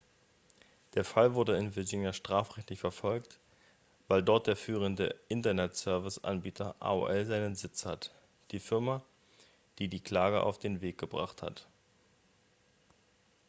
der fall wurde in virginia strafrechtlich verfolgt weil dort der führende internetserviceanbieter aol seinen sitz hat die firma die die klage auf den weg gebracht hat